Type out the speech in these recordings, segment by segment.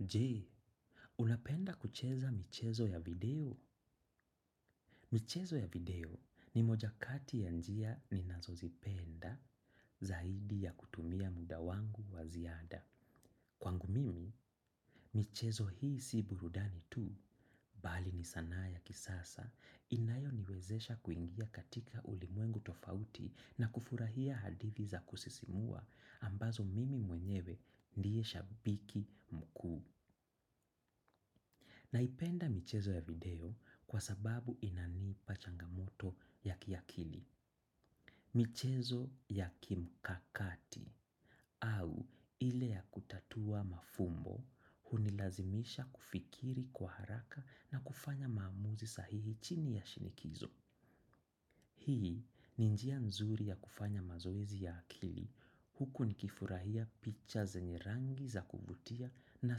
Jee, unapenda kucheza michezo ya video? Michezo ya video ni moja kati ya njia ninazozipenda zaidi ya kutumia muda wangu wa ziada. Kwangu mimi, michezo hii si burudani tu. Bali ni sanaa ya kisasa, inayoniwezesha kuingia katika ulimwengu tofauti na kufurahia hadithi za kusisimua ambazo mimi mwenyewe ndiye shabiki mkuu. Naipenda michezo ya video kwa sababu inanii pachangamoto ya kiakili. Michezo ya kimkakati au ile ya kutatua mafumbo hunilazimisha kufikiri kwa haraka na kufanya maamuzi sahihi chini ya shinikizo. Hii ni njia nzuri ya kufanya mazoezi ya akili huku nikifurahia picha zenye rangi za kuvutia na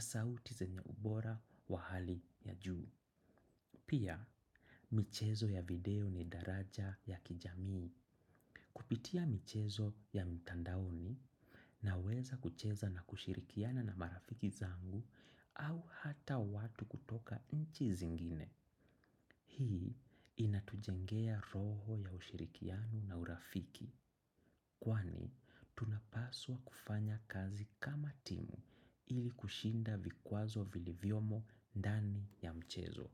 sauti zenye ubora wa hali ya juu. Pia, michezo ya video ni daraja ya kijamii. Kupitia michezo ya mtandaoni na weza kucheza na kushirikiana na marafiki zangu au hata watu kutoka nchi zingine. Hii inatujengea roho ya ushirikianu na urafiki. Kwani, tunapaswa kufanya kazi kama timu ili kushinda vikwazo vilivyomo dani ya mchezo.